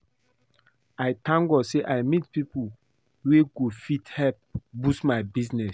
I thank God say I meet people wey go fit help boost my business